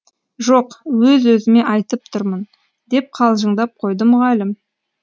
жоқ өз өзіме айтып тұрмын деп қалжыңдап қойды мұғалім